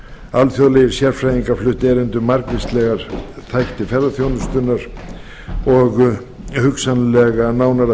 alþjóðlegir sérfræðingar fluttu erindi um margvíslega þætti ferðaþjónustunnar og hugsanlegt nánara